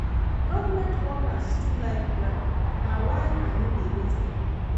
Government workers too like bribe, na why I no dey rate dem.